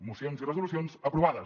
mocions i resolucions aprovades